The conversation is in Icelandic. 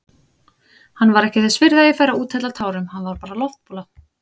Hann var ekki þess virði að ég færi að úthella tárum, hann var bara loftbóla.